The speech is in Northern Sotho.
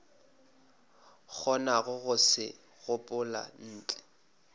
kgonago go se gopola ntle